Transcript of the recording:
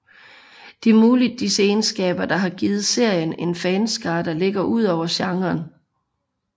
Det er muligvis disse egenskaber der har givet serien en fanskare der ligger udover genren